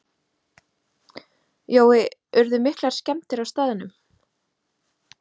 Jói, urðu miklar skemmdir á staðnum?